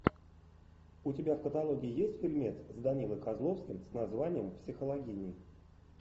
у тебя в каталоге есть фильмец с данилой козловским с названием психологини